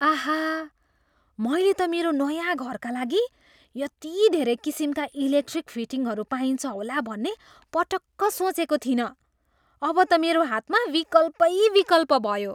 आहा! मैले त मेरो नयाँ घरका लागि यति धेरै किसिमका इलेक्ट्रिक फिटिङहरू पाइन्छ होला भन्ने पटक्क सोचेको थिइनँ। अब त मेरो हातमा विकल्पै विकल्प भयो!